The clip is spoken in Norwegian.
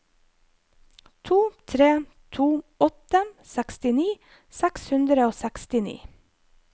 to tre to åtte sekstini seks hundre og sekstini